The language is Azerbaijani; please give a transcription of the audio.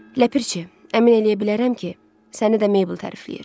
Ləpərçi, əmin eləyə bilərəm ki, səni də Mabel tərifləyir.